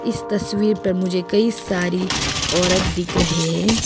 इस तस्वीर पर मुझे कई सारी औरत दिख रहे हैं।